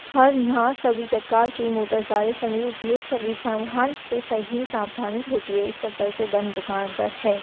और यहाँ सभी प्रकार के मोटर सारे बंद दुकान पर है।